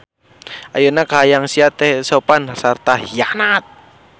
Ayeuna kahayang sia teu sopan sarta hianat.